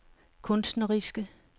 kunstneriske